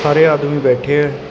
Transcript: ਸਾਰੇ ਆਦਮੀ ਬੈਠੇ ਐ।